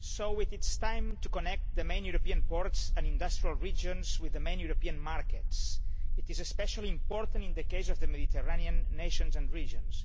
It is time to connect the main European ports and industrial regions with the main European markets. This is especially important in the case of the Mediterranean nations and regions.